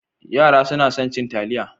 Yara suna son cin taliya.